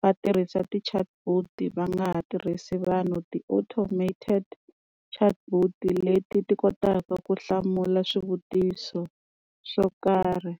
va tirhisa ti-chatbot va nga ha tirhisi vanhu ti-automated chatbot leti ti kotaka ku hlamula swivutiso swo karhi.